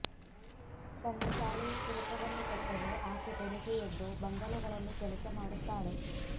ತನ್ನ ಶಾಲೆಯ ಶುಲ್ಕವನ್ನು ಕಟ್ಟಲು ಆಕೆ ಬೆಳಿಗ್ಗೆ ಎದ್ದು ಬಂಗಲೆಗಳಲ್ಲಿ ಕೆಲಸ ಮಾಡುತ್ತಾಳೆ